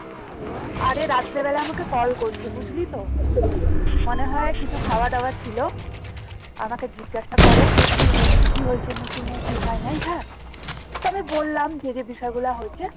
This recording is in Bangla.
আরে রাত্রে বেলাতে আমাকে কল করছে বুঝলি তো? মানে হয় কিছু খাওয়া দাওয়া ছিল আমাকে জিজ্ঞাসা করে যে কি হয়েছে meeting এ কি হয় নাই হ্যাঁ তো আমি বললাম যে যে বিষয় গুলো হয়েছে